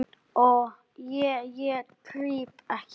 Ég, ég krýp ekki.